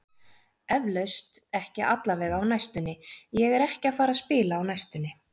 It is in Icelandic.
Eflaust, ekki allavega á næstunni, ég er ekki að fara að spila á næstunni.